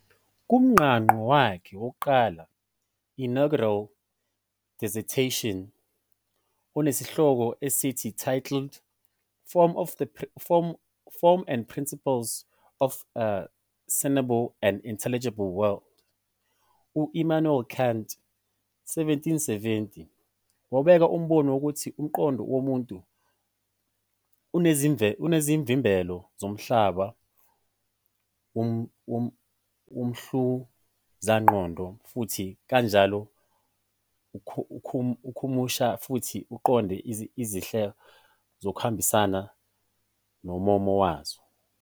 Kumqangqo wakhe wokuqala, inaugural dissertation, onesihloko esithi titled "Form and Principles of the Sensible and Intelligible World", u-Immanuel Kant, 1770, wabeka umbono wokuthi umqondo womuntu unezivimbelo zomhlaba womhluzamqondo futhi kanjalo ukhumusha futhi uqonde izehlo ngokuhambisana nommomo wazo.